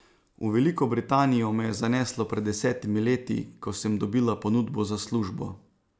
V Veliko Britanijo me je zaneslo pred desetimi leti, ko sem dobila ponudbo za službo.